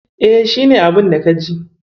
E, shi ne abunda ka ji.